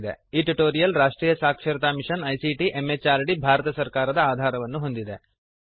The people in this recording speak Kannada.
ಈ ಟ್ಯುಟೋರಿಯಲ್ ರಾಷ್ಟ್ರೀಯ ಸಾಕ್ಷರತಾ ಮಿಶನ್ ಐಸಿಟಿ ಎಂಎಚಆರ್ಡಿ ಭಾರತ ಸರ್ಕಾರದ ಆಧಾರವನ್ನು ಹೊಂದಿದೆ